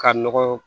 Ka nɔgɔ